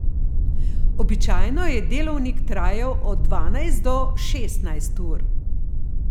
Običajno je delovnik trajal od dvanajst do šestnajst ur.